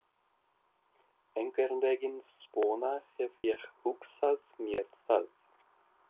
Einhvern veginn svona hef ég hugsað mér það.